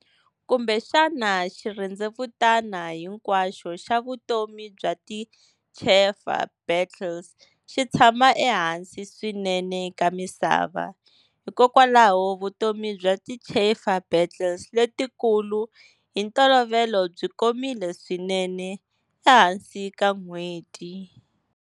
Kumbexana xirhendzevutani hinkwaxo xa vutomi bya ti chafer beetles xitshama ehansi swinene ka misava, hikokwalaho vutomi bya ti chafer beetles letikulu hi ntolovelo byi komile swinene, ehansi ka n'hweti.